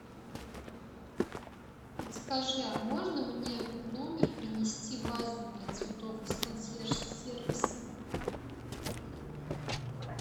подскажи а можно мне в номер принести вазу для цветов из консьерж сервиса